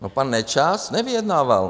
No pan Nečas nevyjednával.